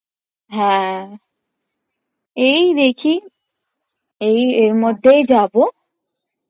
হ্যাঁ এই দেখি এই এর মধ্যেই যাবো